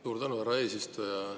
Suur tänu, härra eesistuja!